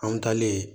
An mi taa ne ye